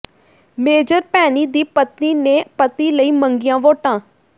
major Bhaini ਦੀ ਪਤਨੀ ਨੇ ਪਤੀ ਲਈ ਮੰਗੀਆਂ ਵੋਟਾਂ